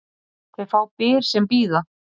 Þeir fá byr sem bíða.